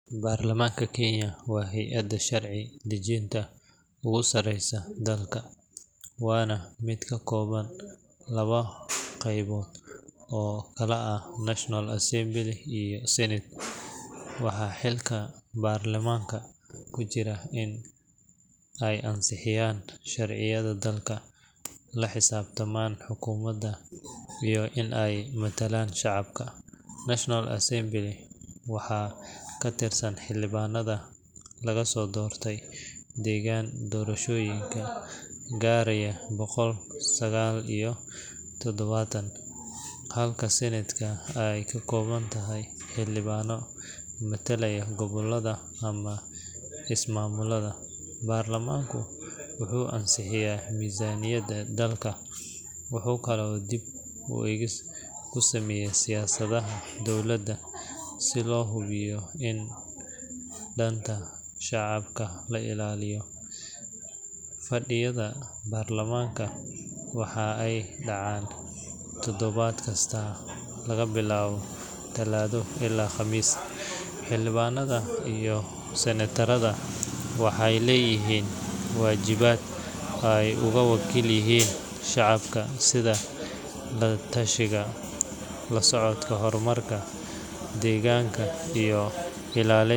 Baarlamaanka Kenya waa hay’adda sharci dejinta ugu sarreysa dalka, waana mid ka kooban laba qaybood oo kala ah National Assembly iyo Senate. Waxaa xilka baarlamaanka ku jira in ay ansixiyaan sharciyada dalka, la xisaabtamaan xukuumadda, iyo in ay matalaan shacabka. National Assembly waxaa ka tirsan xildhibaanada laga soo doorto deegaan doorashooyin gaaraya boqol sagaal iyo todobaatan, halka Senate ay ka kooban tahay xildhibaano matala gobollada ama ismaamullada. Baarlamaanka wuxuu ansixiyaa miisaaniyadda dalka, wuxuu kaloo dib u eegis ku sameeyaa siyaasadaha dowladda si loo hubiyo in danta shacabka la ilaalinayo. Fadhiyada baarlamaanka waxa ay dhacaan toddobaad kasta laga bilaabo Talaado ilaa Khamiis. Xildhibaannada iyo senatarada waxay leeyihiin waajibaad ay uga wakiil yihiin shacabka sida la tashiga, la socodka horumarka deegaanka iyo ilaalinta.